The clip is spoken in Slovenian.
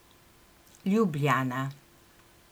Ljubljana.